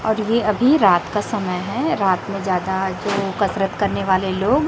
और ये अभी रात का समय है रात में ज्यादा जो कसरत करने वाले लोग--